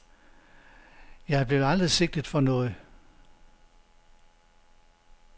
Jeg blev aldrig sigtet for noget.